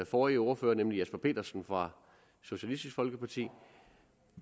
forrige ordfører nemlig herre jesper petersen fra socialistisk folkeparti